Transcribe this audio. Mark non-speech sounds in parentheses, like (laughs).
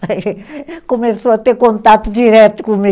Aí (laughs) começou a ter contato direto comigo.